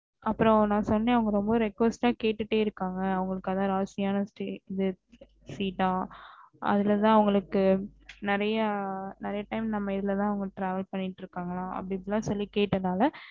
அப்றம் ந சொன்னே அவுங்க request ஆஹ் கேட்டுட்டே இருகாங்க அதான் அவுங்களுக்கு ராசியான seat ஆஹ் அதுலதா அவுங்களுக்கு நெறையா நெறைய time அவுங்க நம்மதுலதா அவுங்க travel பண்ணிட்டு இருகன்கலாம் அப்டீப்டின்னு கேட்டேன் நானு